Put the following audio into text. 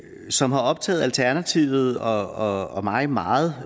som har optaget alternativet og mig meget